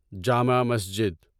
Jama Masjid